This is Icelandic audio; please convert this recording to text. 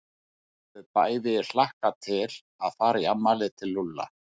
Þau höfðu bæði hlakkað til að fara í afmælið til Lúlla.